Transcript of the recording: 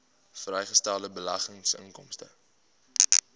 vrygestelde beleggingsinkomste